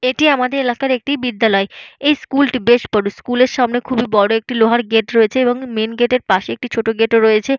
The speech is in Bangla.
এটি আমাদের এলাকার একটি বিদ্যালয়। এই স্কুল - টি বেশ বড়। স্কুল - এর সামনে খুবই বড় একটি লোহার গেট রয়েছে এবং মেইন গেট - এর পাশে একটি ছোট গেট - ও রয়েছে।